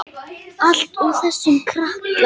Allt út af þessum krakka.